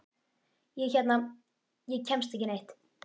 Ég hérna. ég kemst ekki neitt.